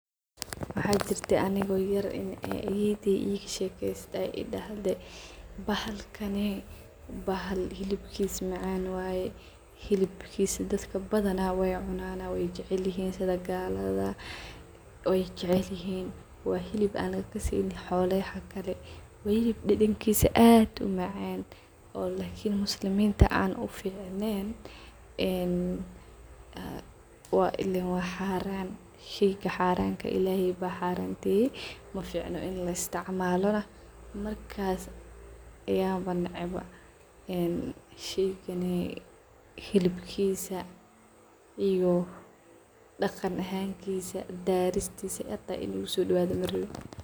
Waxa jirte anigo yaar in ayeeyde igasheyse aay idahde bahalkaney bahaal xilibkiisa macan waye xilibkiisa daaka badhana way cunayan way jicilihiin sidha galadha way jicilihin waa xilib aan kaseynin xooloyaha kale waa xiliib dadankisa aad umacaan oo lakiin musliminta aan uficneen waa ileen waa xaraam sheyga xaramka Illahay ba xaramaye maficno in laa isticmalo markas ayaba naace ba een sheyganay xilibkiisa iyo daganahankisa, daaristisa inuu igusodawadho marawi.